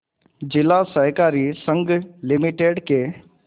जिला सहकारी संघ लिमिटेड के